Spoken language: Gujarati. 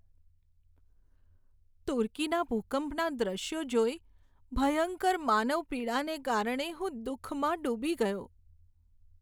તુર્કીના ભૂકંપના દ્રશ્યો જોઈ, ભયંકર માનવ પીડાને કારણે હું દુઃખમાં ડૂબી ગયો.